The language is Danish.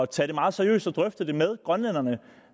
tage det meget seriøst og drøfte det med grønlænderne